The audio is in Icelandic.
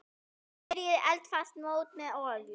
Smyrjið eldfast mót með olíu.